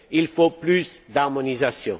Il faut plus d'harmonisation.